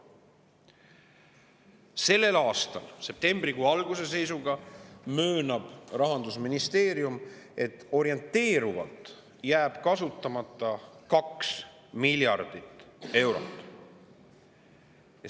Sellel aastal möönab Rahandusministeerium, et septembrikuu alguse seisuga jääb orienteerivalt kasutamata 2 miljardit eurot.